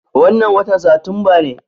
Wannan watan Satumba ne.